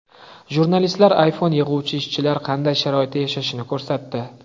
Jurnalistlar iPhone yig‘uvchi ishchilar qanday sharoitda yashashini ko‘rsatdi.